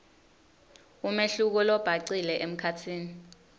umehluko lobhacile emkhatsini